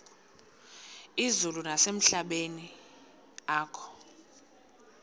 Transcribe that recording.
izulu nasemehlweni akho